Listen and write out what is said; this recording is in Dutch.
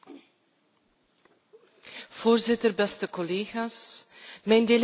Mijn delegatie is tevreden met de uitkomst van de trialoogonderhandelingen.